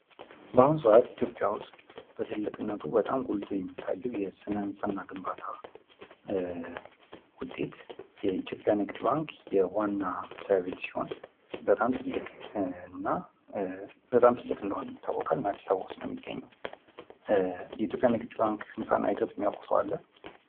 በአሁኑ ሰአት ኢትዮጵያ ውስጥ በትልቅነቱ ጎልቶ የሚታየው የስነ ህንፃና ግንባታ ውጤት የኢትዮጵያ ንግድ ባንክ ዋና መስሪያ ቤት ሲሆን በጣም ትልቅ እንደሆነ ይታወቃል እነም አዲስ አበባ ውስጥ ነው የሚገኘው ውስጥ። የኢትዮጵያ ንግድ ባንክ ህንፃ አይቶች የሚያውቅ ሰው አለ?